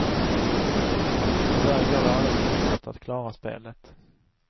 Tyvärr går det alldeles för fort att klara spelet.